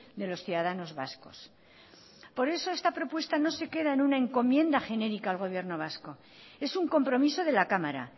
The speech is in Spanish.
de los ciudadanos vascos por eso esta propuesta no ser queda en una encomienda genérica al gobierno vasco es un compromiso de la cámara